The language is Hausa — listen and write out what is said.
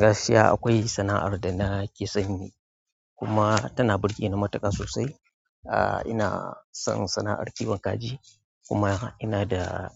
Gaskiya akwai sana'ar da nake son yi kuma tana burge ni matuƙa sosai. Ina son sana'ar kiwon kaji kuma ina da,